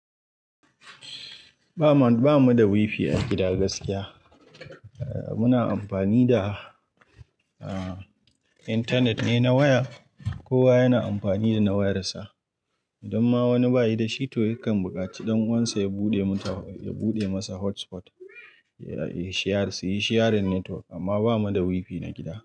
Ba ma, ba mu da wifi a gida gaskiya. Muna amfani da, ah, intanet ne na waya. Kowa yana amfani da na wayar sa. Idan ma wani ba yi da shi to yakan buƙaci ɗan'uwansa ya buɗe mun ta, ya buɗe masa hotspot. Ya yi shiya, su yi shiyarin network amma ba mu da wifi na gida.